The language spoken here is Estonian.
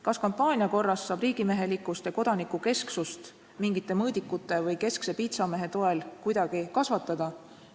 Kas kampaania korras saab riigimehelikkust ja kodanikukesksust mingite mõõdikute või keskse piitsamehe toel kuidagi kasvatada?